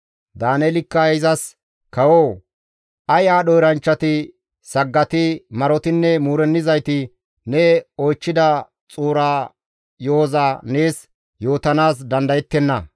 Daaneelikka izas, «Kawoo! Ay aadho eranchchati, saggati, marotinne muurennizayti ne oychchida xuura yo7oza nees yootanaas dandayettenna.